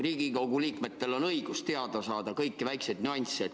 Riigikogu liikmetel on õigus teada saada kõiki väikeseid nüansse.